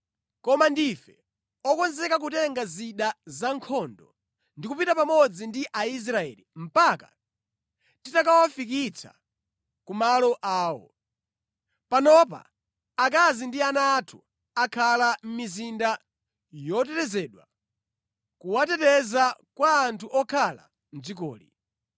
Koma ndife okonzeka kutenga zida za nkhondo ndi kupita pamodzi ndi Aisraeli mpaka titakawafikitsa ku malo awo. Panopa, akazi ndi ana athu akhala mʼmizinda yotetezedwa, kuwateteza kwa anthu okhala mʼdzikoli.